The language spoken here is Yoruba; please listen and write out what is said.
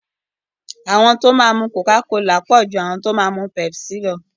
Àwọn tí wọ́n máa mu coca-cola pọ̀ ju àwọn tí wọ́n máa mu pepsi lọ.